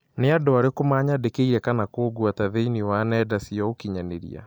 Nĩ andũ arĩkũ manyandĩkĩire kana kũngweta thĩinĩ wa nenda cia ũkĩnyaniria